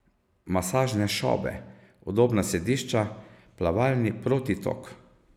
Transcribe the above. Masažne šobe, udobna sedišča, plavalni protitok...